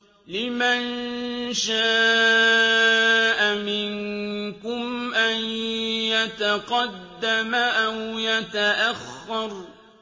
لِمَن شَاءَ مِنكُمْ أَن يَتَقَدَّمَ أَوْ يَتَأَخَّرَ